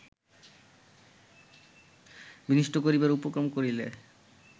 বিনষ্ট করিবার উপক্রম করিলে